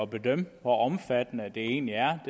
at bedømme hvor omfattende det egentlig er